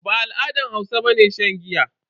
Ba al'adar Hausa bane shan giya.